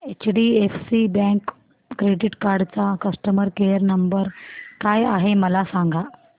HDFC bank credit card चा customer care number काय आहे मला सांगा